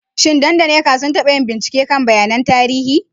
Shin Dan da Nneka sun taba yin bincike kan bayanan tarihi?